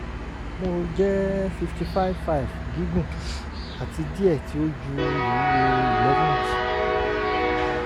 mo jẹ fifty five five gígùn ati diẹ ti o ju iwuwo eleventh